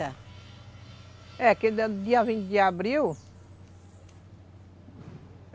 É, que no dia vinte de abril.